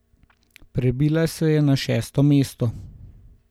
Prebila se je na šesto mesto.